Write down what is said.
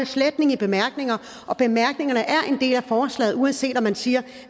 sletning i bemærkningerne og bemærkningerne er en del af forslaget uanset at man siger